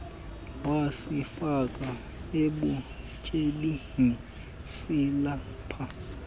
wasifaka ebutyebini silapha